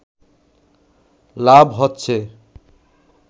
লাভ হচ্ছে